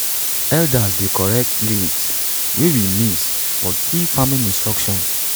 elders dey correct lyrics wey we miss for key farming instructions